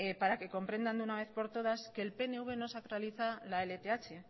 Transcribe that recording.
para que comprendan de una vez por todas que el pnv no sacraliza la lth